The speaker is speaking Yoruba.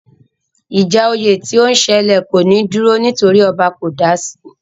Ìjà oyè tí ó ń sẹlẹ̀ kò ní dúró nítorí ọba kò dasi